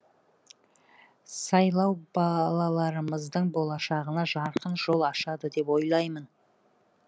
сайлау балаларымыздың болашағына жарқын жол ашады деп ойлаймын